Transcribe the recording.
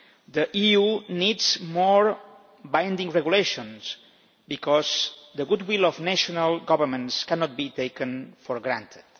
The EU needs more binding regulations, because the goodwill of national governments cannot be taken for granted.